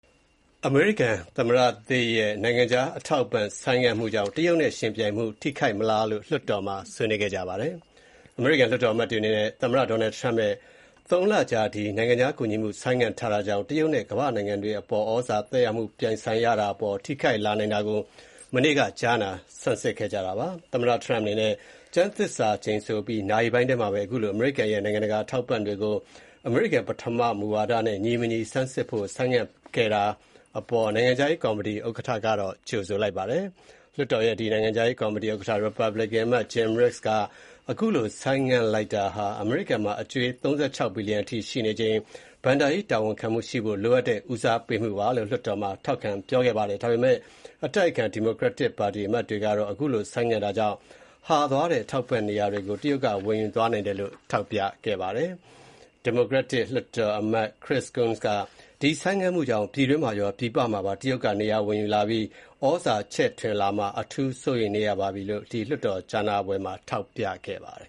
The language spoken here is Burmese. အမေရိကန်သမ္မတသစ်ရဲ့ နိုင်ငံခြားအထောက်အပံ့ ဆိုင်းငံ့မှုကြောင့် တရုတ်နဲ့ယဉ်ပြိုင်မှု ထိခိုက်မလား ဆိုတာကို လွှတ်တော်မှာ ဆွေးနွေးခဲ့ကြပါတယ်။ သမ္မတ Donald Trump ရဲ့ ၃ လကြာ ဒီ နိုင်ငံခြားကူညီမှု ဆိုင်းငံ့တာကြောင်၊့ တရုတ်နဲ့ ကမ္ဘာ့နိုင်ငံတွေအပေါ် သြဇာ သက်ရောက်မှု ပြိုင်ဆိုင်ရတာအပေါ် ထိခိုက်လာနိုင်တာကို အမေရိကန်လွှတ်တော်အမတ်တွေ မနေ့က ကြားနာဆန်းစစ် ခဲ့ကြပါတယ်။ သမ္မတ Trump အနေနဲ့ ကျမ်းသစ္စာကြိမ်ဆိုအပြီး နာရီပိုင်းထဲမှာပဲ အခုလို အမေရိကန်ရဲ့ နိူင်ငံတကာ အထောက်အပံ့တွေကို အမေရိကန်ပထမ မူဝါဒနဲ့ ညီမညီ ဆန်းစစ်ဖို့ ဆိုင်းငံ့ခဲ့တာအပေါ် အထက်လွှတ်တော် နိုင်ငံခြားရေးကော်မတီ ဥက္ကဌ Jim Resch ကတော့ ကြိုဆိုလိုက်ပါတယ်။ အခုလို ဆိုင်းငံ့လိုက်တာဟာ အမေရိကန်မှာ အကြွေး ၃၆ ထရီလီယံအထိ ရှိနေချိန်မှာ ဘဏ္ဍာရေး တာဝန်ခံမှုရှိဖို့ လိုအပ်တဲ့ ဦးစားပေးမှုပါလို့ လွှတ်တော်မှာ ထောက်ခံပြောခဲ့ပါတယ်။ ဒါပေမဲ့ အတိုက်အခံ ဒီမိုကရက်တစ်ပါတီ အမတ်တွေကတော့ အခုလို ဆိုင်းငံ့တာကြောင့် ဟာသွားတဲ့ အထောက်အပံ့တွေ နေရာကို တရုတ်က ဝင်ယူသွားနိုင်တယ်လို့ ထောက်ပြခဲ့ကြပါတယ်။ ဒီမိုကရက်တစ် အထက်လွှတ်တော်အမတ် Chirs Coons က ဒီဆိုင်းငံ့မှုကြောင့် ပြည်တွင်းမှာရော ပြည်ပမှာပါ တရုတ်က နေရာဝင်ယူလာပြီး သြဇာချဲ့ထွင်လာမှာကို အထူး စိုးရမ်ပါတယ်လို့ ဒီလွှတ်တော်ကြားနာပွဲမှာ ပြောခဲ့ပါတယ်